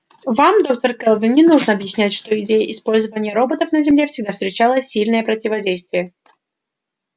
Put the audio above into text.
вам доктор кэлвин не нужно объяснять что идея использования роботов на земле всегда встречала сильное противодействие